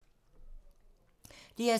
DR2